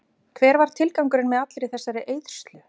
Hver var tilgangurinn með allri þessari eyðslu?